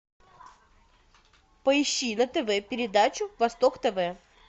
поищи на тв передачу восток тв